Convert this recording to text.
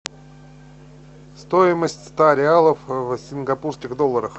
стоимость ста реалов в сингапурских долларах